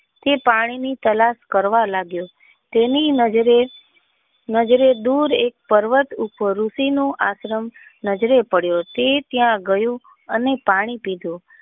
તે પાણી ની તલાસ કરવા લાગ્યો તેની નજર નજરે દૂર એકે પર્વત ઉપર ઋષિ નું આશ્રમ નજરે પડ્યું તે ત્યાં ગયો અને પાણી પીધું.